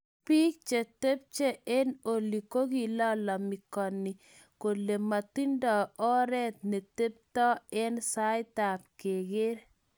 Bil che tepche eng oli kokilalamikaniki kole matindo oret netepto eng saet ab keker.